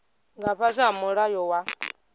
nga fhasi ha mulayo wa